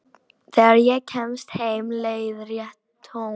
Þegar ég kemst heim leiðrétti Thomas.